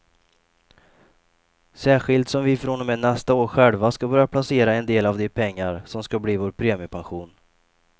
Särskilt som vi från och med nästa år själva ska börja placera en del av de pengar som ska bli vår premiepension.